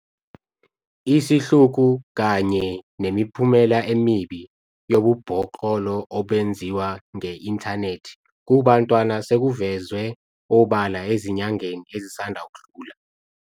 Isihluku kanye nemiphumela emibi yobubhoklolo obenziwa nge-inthanethi kubantwana sekuvezwe obala ezinyangeni ezisanda kudlula.